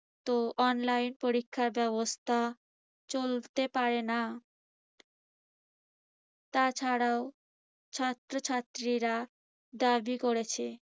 তো online পরীক্ষার ব্যবস্থা চলতে পারে না। তাছাড়াও ছাত্রছাত্রীরা দাবি করেছে